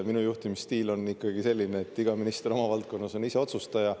Minu juhtimisstiil on ikkagi selline, et iga minister oma valdkonnas on ise otsustaja.